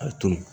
A tun